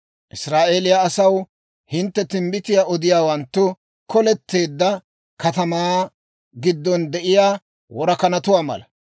Israa'eeliyaa asaw, hintte timbbitiyaa odiyaawanttu koleteedda katamaa giddon de'iyaa worakanatuwaa mala.